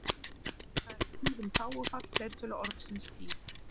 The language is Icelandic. Þar er tíðum þágufall fleirtölu orðsins tíð.